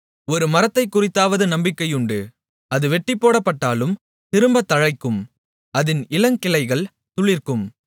ஒரு மரத்தைக்குறித்தாவது நம்பிக்கையுண்டு அது வெட்டிப்போடப்பட்டாலும் திரும்பத் தழைக்கும் அதின் இளங்கிளைகள் துளிர்க்கும்